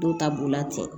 Dɔw ta b'o la ten